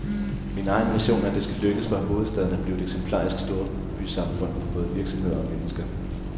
Min egen vision er, at det skal lykkes for hovedstaden at blive et eksemplarisk storbysamfund for både virksomheder og mennesker.